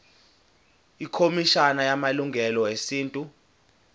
ikhomishana yamalungelo esintu